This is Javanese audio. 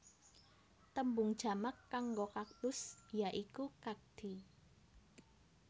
Tembung jamak kanggo kaktus ya iku kakti